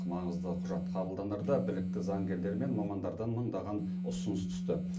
маңызды құжат қабылданарда білікті заңгерлер мен мамандардан мыңдаған ұсыныс түсті